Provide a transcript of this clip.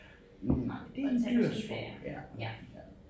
Nej det en dyr sport ja